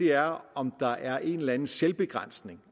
er om der er en eller anden selvbegrænsning